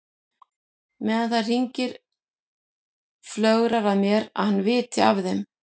Meðan það hringir flögrar að mér að hann viti af þeim.